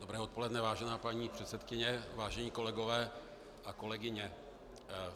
Dobré odpoledne, vážená paní předsedkyně, vážení kolegové a kolegyně.